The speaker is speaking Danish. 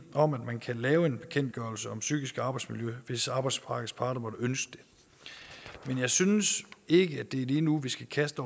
om at man kan lave en bekendtgørelse om psykisk arbejdsmiljø hvis arbejdsmarkedets parter måtte ønske det men jeg synes ikke at det er lige nu vi skal kaste